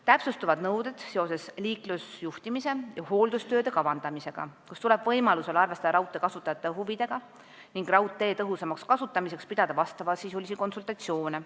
Täpsustuvad nõuded seoses liiklusjuhtimise ja hooldustööde kavandamisega, võimalusel tuleb arvestada raudtee kasutajate huvidega ning raudtee tõhusamaks kasutamiseks pidada konsultatsioone.